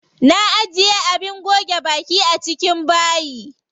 Na ajiye abin goge baki a cikin bayi.